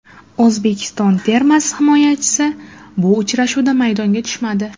O‘zbekiston termasi himoyachisi bu uchrashuvda maydonga tushmadi.